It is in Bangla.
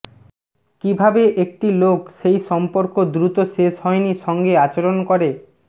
কিভাবে একটি লোক সেই সম্পর্ক দ্রুত শেষ হয়নি সঙ্গে আচরণ করে